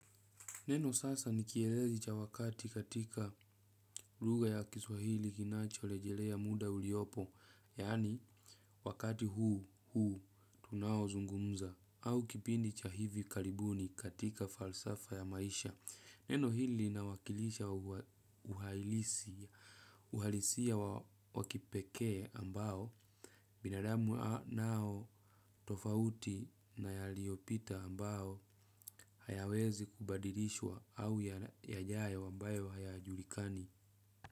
Neno sasa nikielezi cha wakati katika luga ya kiswahili kinacho lejelea muda uliopo, yani wakati huu, huu, tunao zungumza, au kipindi cha hivi karibuni katika falsafa ya maisha. Neno hili inawakilisha uhalisia wakipeke ambao, binadamu nao tofauti nayaliopita ambaho hayawezi kubadilishwa au ya jayo wambayo haya julikani.